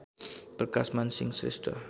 Prakashman Singh Shrestha